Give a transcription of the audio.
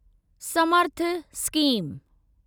Samarth scheme